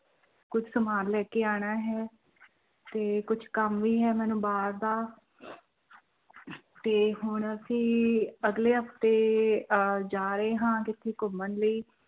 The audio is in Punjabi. ਕੁਛ ਸਮਾਨ ਲੈ ਕੇ ਆਉਣਾ ਹੈ ਤੇ ਕੁਛ ਕੰਮ ਵੀ ਹੈ ਮੈਨੂੰ ਬਾਹਰ ਦਾ ਤੇ ਹੁਣ ਅਸੀਂ ਅਗਲੇ ਹਫ਼ਤੇ ਅਹ ਜਾ ਰਹੇ ਹਾਂ ਕਿਤੇ ਘੁੰਮਣ ਲਈ